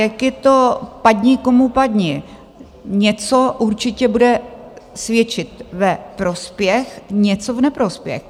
Jak je to padni, komu padni, něco určitě bude svědčit ve prospěch, něco v neprospěch.